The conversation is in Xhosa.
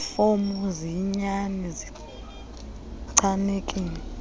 fomu ziyinyani zichanekile